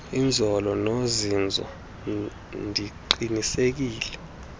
inzolo nozinzo ndiqinisekise